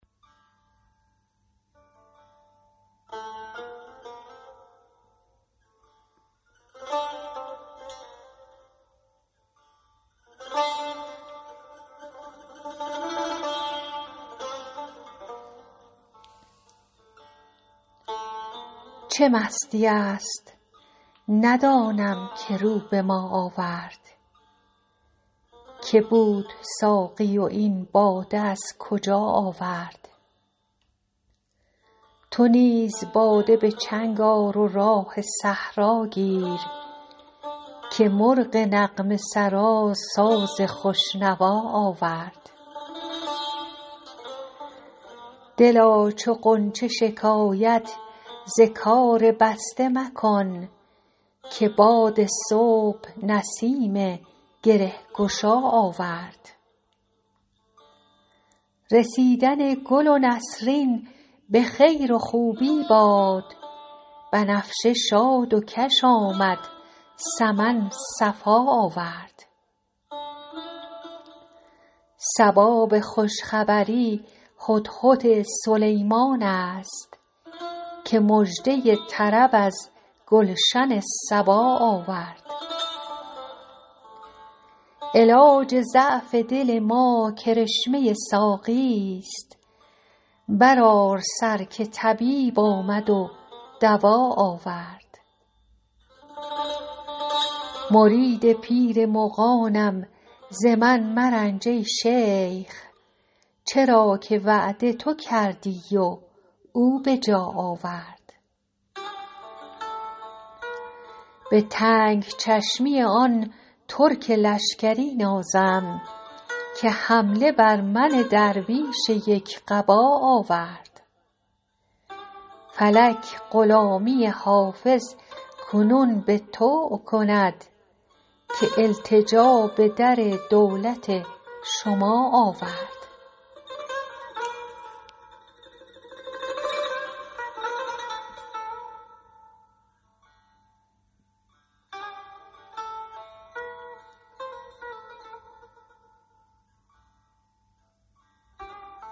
چه مستیی است ندانم که رو به ما آورد که بود ساقی و این باده از کجا آورد چه راه می زند این مطرب مقام شناس که در میان غزل قول آشنا آورد تو نیز باده به چنگ آر و راه صحرا گیر که مرغ نغمه سرا ساز خوش نوا آورد دلا چو غنچه شکایت ز کار بسته مکن که باد صبح نسیم گره گشا آورد رسیدن گل نسرین به خیر و خوبی باد بنفشه شاد و کش آمد سمن صفا آورد صبا به خوش خبری هدهد سلیمان است که مژده طرب از گلشن سبا آورد علاج ضعف دل ما کرشمه ساقیست برآر سر که طبیب آمد و دوا آورد مرید پیر مغانم ز من مرنج ای شیخ چرا که وعده تو کردی و او به جا آورد به تنگ چشمی آن ترک لشکری نازم که حمله بر من درویش یک قبا آورد فلک غلامی حافظ کنون به طوع کند که التجا به در دولت شما آورد